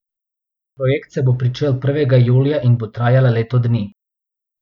Projekt se bo pričel prvega julija in bo trajal leto dni.